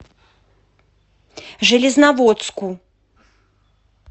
железноводску